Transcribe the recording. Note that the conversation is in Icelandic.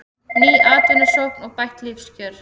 Ný atvinnusókn og bætt lífskjör